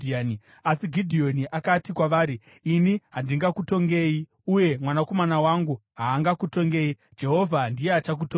Asi Gidheoni akati kwavari, “Ini handingakutongei, uye mwanakomana wangu haangakutongei. Jehovha ndiye achakutongai.”